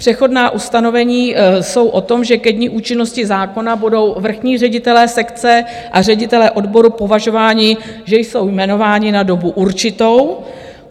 Přechodná ustanovení jsou o tom, že ke dni účinnosti zákona budou vrchní ředitelé sekce a ředitelé odboru považováni, že jsou jmenováni na dobu určitou.